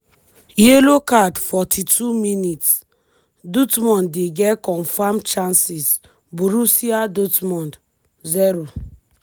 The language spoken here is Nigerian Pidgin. yellow card 42mins- dortmund dey get confam chances borussia dortmund 0